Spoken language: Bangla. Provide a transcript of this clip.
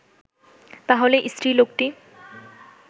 তা হলে স্ত্রীলোকটি